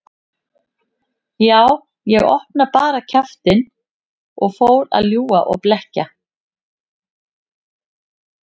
Já, ég opnaði bara kjaftinn og fór að ljúga og blekkja.